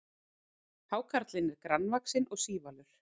hákarlinn er grannvaxinn og sívalur